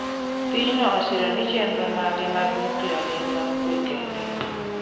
Piny no osiro ni chenro mage mag nuklia gin mag kwe kende